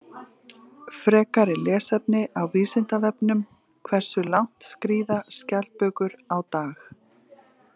Frekara lesefni á Vísindavefnum: Hversu langt skríða skjaldbökur á dag?